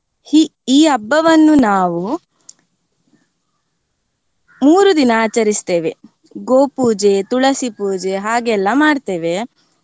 ಹಿ~ ಈ ಹಬ್ಬವನ್ನು ನಾವು ಮೂರೂ ದಿನ ಆಚರಿಸ್ತೇವೆ. ಗೋಪೂಜೆ, ತುಳಸಿ ಪೂಜೆ, ಹಾಗೆಲ್ಲ ಮಾಡ್ತೇವೆ.